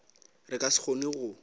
re ka se kgone go